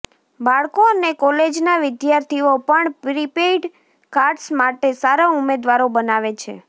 બાળકો અને કોલેજના વિદ્યાર્થીઓ પણ પ્રિપેઇડ કાર્ડ્સ માટે સારા ઉમેદવારો બનાવે છે